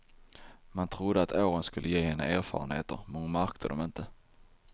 Man trodde att åren skulle ge henne erfarenheter, men hon märker dom inte.